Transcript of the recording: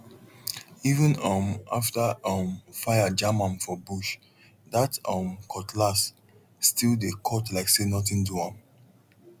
even um after um fire jam am for bush that um cutlass still dey cut like say nothing do am